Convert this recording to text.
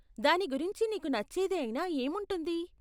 దాని గురించి నీకు నచ్చేది అయినా ఏముంటుంది?